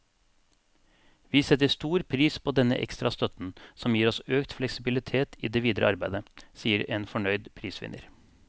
Vi setter stor pris på denne ekstra støtten, som gir oss økt fleksibilitet i det videre arbeidet, sier en fornøyd prisvinner.